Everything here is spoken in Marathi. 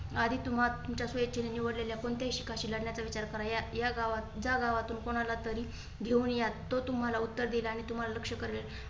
आधी तुम्हाला तुमच्या सोयीची निवडलेल्या कोणत्याही शिखांशी लढण्याचा विचार करा या गावातून जा गावातून कुणाला तरी घेऊन या. तो तुम्हाला उत्तर देईल आणि तुम्हाला लक्ष्य करेल.